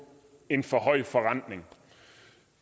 en for høj forrentning og